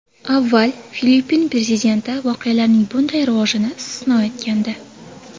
Avval Filippin prezidenti voqealarning bunday rivojini istisno etgandi.